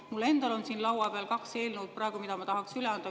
Mul endal on siin laua peal praegu kaks eelnõu, mida ma tahaksin üle anda.